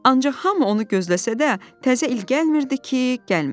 Ancaq hamı onu gözləsə də, təzə il gəlmirdi ki, gəlmir.